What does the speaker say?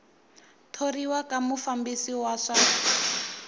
thoriwa ka mufambisi wa swa